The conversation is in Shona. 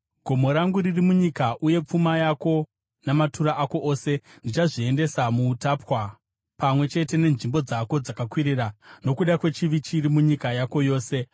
Gomo rangu riri munyika uye pfuma yako namatura ako ose ndichazviendesa kuutapwa, pamwe chete nenzvimbo dzako dzakakwirira, nokuda kwechivi chiri munyika yako yose.